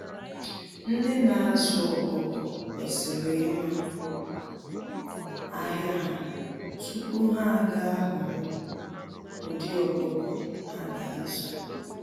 Ndị na azụ ọkụkọ kwesịrị ịma ahịa ha tupu ha ga ahọorọ ụdị ọkụkọ ha ga azụ.